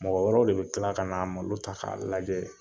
Mɔgɔ wɛrɛw de bɛ tila ka n'a malo ta k'a lajɛ